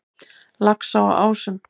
Laxá á Ásum